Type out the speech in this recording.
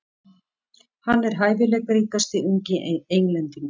Hann er hæfileikaríkasti ungi Englendingurinn.